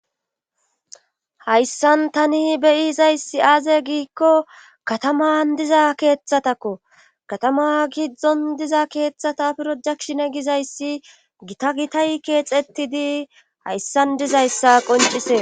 hayssan tani beyizayssi aaze giikko kataman diza keeththatako katama gidzdzon diza keeththata pirojakshine gizayssi gita gitay keexetidi hayssan dizayssa qoncise